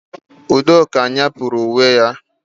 Udoka nyepurụ uwe ya